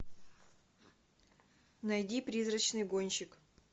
найди призрачный гонщик